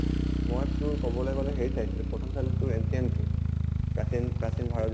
মই তোৰ কʼবলে গʼলে হেৰিত চাইছিলো প্ৰথম চালো তোৰ ancient টো প্ৰাচীন প্ৰাচীন ভাৰত